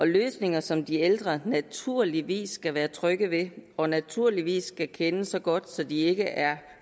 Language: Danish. løsninger som de ældre naturligvis kan være trygge ved og naturligvis skal kende så godt at de ikke er